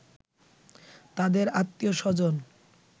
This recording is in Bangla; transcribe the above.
তাদের আত্মীয়স্বজন